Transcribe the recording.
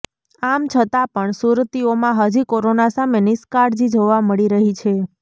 આમ છતાં પણ સુરતીઓમાં હજી કોરોના સામે નિષ્કાળજી જોવા મળી રહી છે